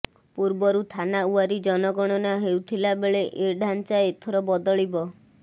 ପୂର୍ବରୁ ଥାନାୱାରୀ ଜନଗଣନା ହେଉଥିଲା ବେଳେ ଏ ଢ଼ାଞ୍ଚା ଏଥର ବଦଳିବ